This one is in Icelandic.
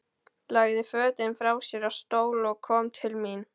Lagði fötin frá sér á stól og kom til mín.